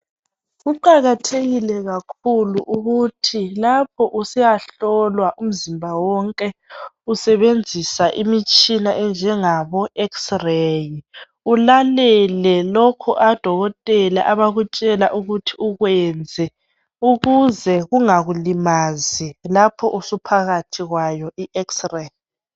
Kuqakathekile kakhulu ukuthi lapho usiyahlolwa umzimba wonke. Usebenzisa imitshina enjengabo x ray ulalele lokho odokotela abakutshela ukuthi ukwenze ukuze kungakulimazi lapho usuphakathi kwayo i x ray.